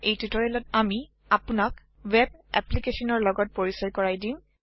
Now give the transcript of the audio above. এই টিউটৰিয়েলত আমি আপোনাক ৱেব এপ্লিকেচনৰ লগত পৰিচই কৰাই দিম